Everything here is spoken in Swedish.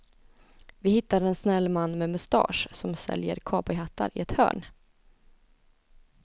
Vi hittar en snäll man med mustasch som säljer cowboyhattar i ett hörn.